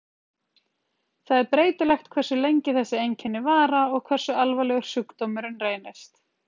Það er breytilegt hversu lengi þessi einkenna vara og hversu alvarlegur sjúkdómurinn reynist.